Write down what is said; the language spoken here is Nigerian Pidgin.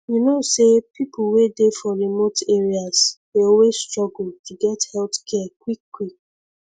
you know say people wey dey for remote areas dey always struggle to get health care quickquick